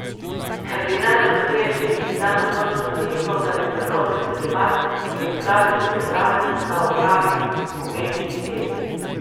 Kardinal Rode je še isti dan odločno zanikal, da bi prelomil celibat, in izrazil pripravljenost, da opravi omenjeni test.